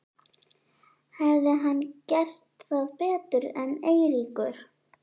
Hefði hann gert það betur en Eiríkur?